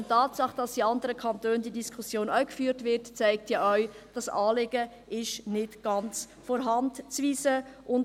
Die Tatsache, dass diese Diskussion auch in anderen Kantonen geführt wird, zeigt, dass dieses Anliegen nicht ganz von der Hand zu weisen ist.